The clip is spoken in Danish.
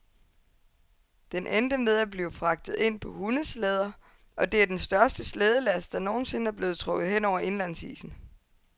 Den endte med at blive fragtet ind på hundeslæder, og det er den største slædelast, der nogen sinde er blevet trukket hen over indlandsisen.